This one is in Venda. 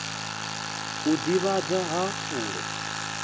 u ḓivhadza nga ha fulo